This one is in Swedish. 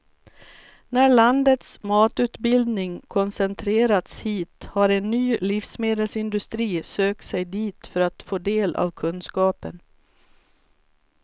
När landets matutbildning koncentrerats hit har en ny livsmedelsindustri sökt sig dit för att få del av kunskapen.